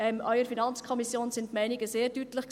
Auch in der FiKo waren die Meinungen sehr deutlich.